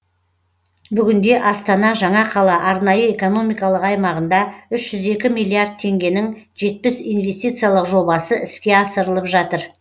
бүгінде астана жаңа қала арнайы экономикалық аймағында үш жүз екі миллиард теңгенің жетпіс инвестициялық жобасы іске асырылып жатыр